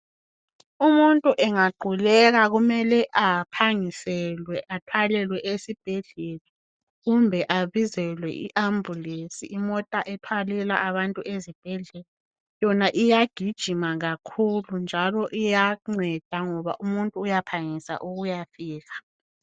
Umuntu engaquleka kumele aphangiselwe athwalelwe esibhedlela kumbe abizelwe iambulesi imota ethwalela abantu ezibhedlela yona iyagijima kakhulu njalo iyanceda ngoba umuntu uyaphangisa ukuya fika